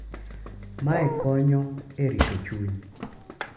Mae konyo e rito chuny